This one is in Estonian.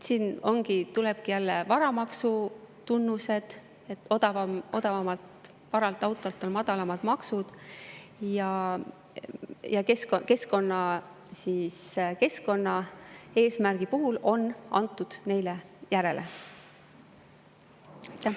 Siin ilmnevadki varamaksu tunnused: odavama vana auto puhul on madalamad maksud ja keskkonnaeesmärgi on neile järele antud.